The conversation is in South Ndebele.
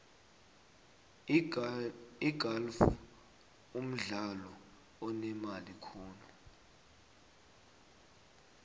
igalfu mdlalo onemali khulu